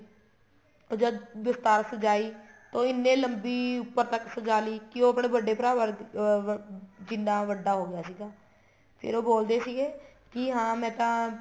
ਉਹ ਜਦ ਦਸਤਾਰ ਸਜਾਈ ਤੋ ਇੰਨੇ ਲੰਬੀ ਉੱਪਰ ਤੱਕ ਸਜਾਲੀ ਕੀ ਉਹ ਆਪਣੇ ਵੱਡੇ ਭਰਾ ਅਹ ਜਿੰਨਾ ਵੱਡਾ ਹੋ ਗਿਆ ਸੀਗਾ ਫ਼ਿਰ ਉਹ ਬੋਲਦੇ ਸੀਗੇ ਕੀ ਹਾਂ ਮੈਂ ਤਾਂ